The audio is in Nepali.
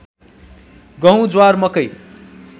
गहुँ ज्वार मकै